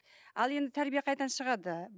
ал енді тәрбие қайдан шығады